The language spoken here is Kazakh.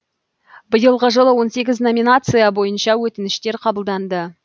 биылғы жылы он сегіз номинация бойынша өтініштер қабылданды